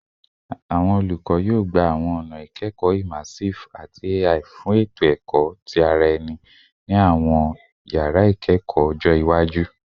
Awọn olukọ yoo gba awọn ọna ikọni immersive ati AI fun eto ẹkọ ti ara ẹni ni awọn yara ikawe iwaju